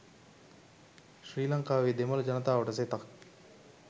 ශ්‍රී ලංකාවේ දෙමළ ජනතාවට සෙතක්